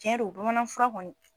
Cɛ don bamanan fura kɔni.